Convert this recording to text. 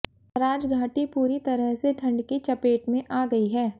सराजघाटी पूरी तरह से ठंड की चपेट में आ गई है